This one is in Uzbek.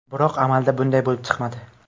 Biroq amalda bunday bo‘lib chiqmadi.